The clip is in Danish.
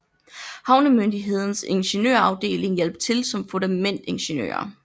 Havnemyndighedens ingeniørafdeling hjalp til som fundamentingeniører